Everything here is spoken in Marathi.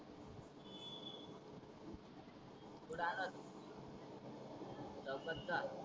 कुठ आला होता तु लवकर सांग